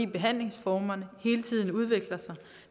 behandlingsformerne hele tiden udvikler sig